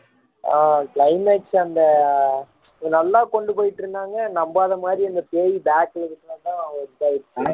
ஆஹ் climax அந்த நல்லா கொண்டு போய்ட்டு இருந்தாங்க நம்பாத மாதிரி அந்த பேய் bag ல இருக்கிறது தான் இதாயிருச்சு